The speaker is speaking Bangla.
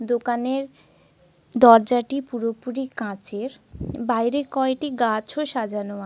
দোকানের দরজাটি পুরোপুরি কাঁচের। বাইরে কয়টি গাছও সাজানো আ--